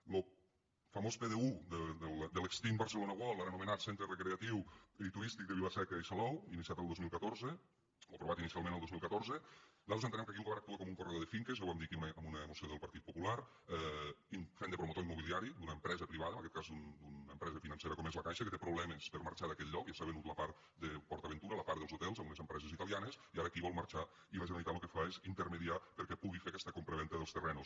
en lo famós pdu de l’extint barcelona world ara anomenat centre recreatiu i turístic de vilaseca i salou iniciat el dos mil catorze o aprovat inicialment el dos mil catorze nosaltres entenem que aquí el govern actua com un corredor de finques ja ho vam dir aquí en una moció del partit popular fent de promotor immobiliari d’una empresa privada en aquest cas d’una empresa financera com és la caixa que té problemes per a marxar d’aquell lloc ja s’ha venut la part de port aventura la part dels hotels a unes empreses italianes i ara aquí vol marxar i la generalitat lo que fa és intermediar perquè pugui fer aquesta compravenda dels terrenys